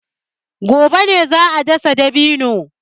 Gobe ne za a dasa dabino.